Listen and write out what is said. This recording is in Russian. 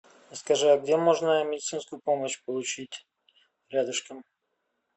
скажи а где можно медицинскую помощь получить рядышком